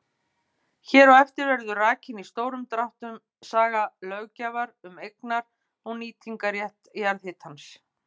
Hér á eftir verður rakin í stórum dráttum saga löggjafar um eignar- og nýtingarrétt jarðhitans.